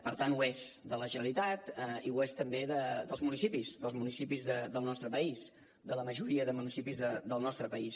per tant ho és de la generalitat i ho és també dels municipis dels municipis del nostre país de la majoria de municipis del nostre país